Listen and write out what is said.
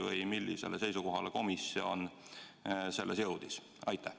Või millisele seisukohale komisjon selles jõudis?